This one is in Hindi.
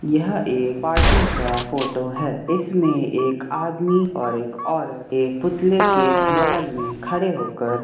यह एक पार्टी का फोटो है। इसमें एक आदमी और एक औरत एक पुतले के बगल में खड़े होकर --